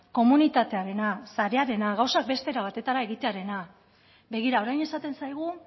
komunitatearena sarearena gauzak beste era batetara egitearena begira orain esaten zaigu